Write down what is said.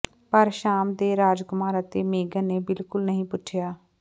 ਪਰ ਸ਼ਾਮ ਦੇ ਰਾਜਕੁਮਾਰ ਅਤੇ ਮੇਗਨ ਨੇ ਬਿਲਕੁਲ ਨਹੀਂ ਪੁੱਛਿਆ